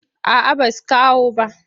A a basu kawo bah.